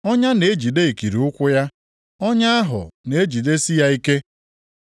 Ọnya na-ejide ikiri ụkwụ ya, ọnya ahụ na-ejidesi ya ike.